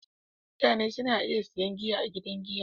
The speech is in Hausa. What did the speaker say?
Mutane na iya sayan giya a gidan giya